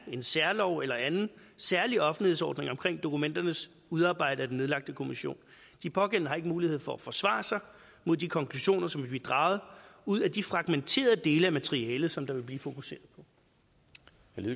en særlov eller anden særlig offentlighedsordning omkring dokumenterne udarbejdet af den nedlagte kommission de pågældende har ikke mulighed for at forsvare sig mod de konklusioner som vil blive draget ud af de fragmenterede dele af materialet som der vil blive fokuseret